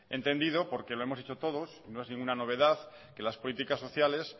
he entendido porque lo hemos dicho todos no es ninguna novedad que las políticas sociales